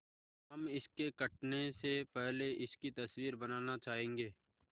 हम इसके कटने से पहले इसकी तस्वीर बनाना चाहेंगे